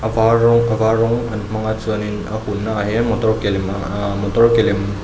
var rawng a var rawng an hmang a chuanin a hunnaah hian motor ke lem aa motor ke lem--